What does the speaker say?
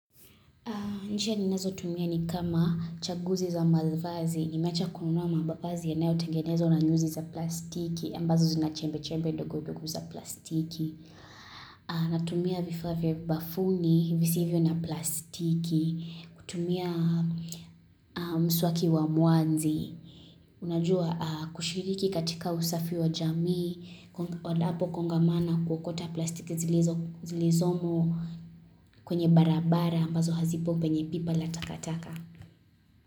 Njia ninezotumia ni kama chaguzi za mavazi, nimeacha kununua mavazi yanayo tengenezo na nyuzi za plastiki, ambazo zinachembe chembe ndogo ndogo za plastiki. Natumia vifaa vya bafuni visivyo na plastiki, kutumia mswaki wa muanzi. Unajua kushiriki katika usafi wa jamii, wadapo kongamano kuokota plastiki zilizomo kwenye barabara ambazo hazipo penye pipa la takataka.